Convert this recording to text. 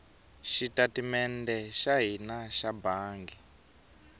xitatimede xa hina xa bangi